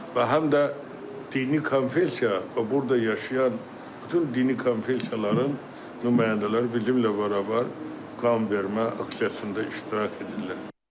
Və həm də dini konfessiya, burda yaşayan bütün dini konfessiyaların nümayəndələr bizimlə bərabər qanvermə aksiyasında iştirak edirlər.